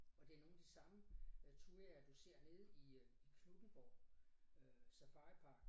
Og det er nogle de samme øh thujaer du ser nede i øh i Knuthenborg øh Safaripark